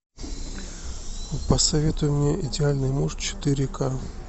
посоветуй мне идеальный муж четыре ка